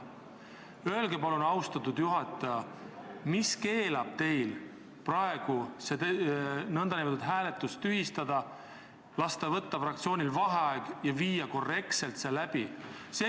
Öelge palun, austatud juhataja, mis keelab teil praegu selle hääletuse tühistada, lasta fraktsioonil vaheaeg võtta ja viia hääletus korrektselt läbi?